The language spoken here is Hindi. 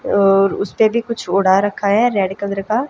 और उस पे भी कुछ ओढ़ा रखा है रेड कलर का।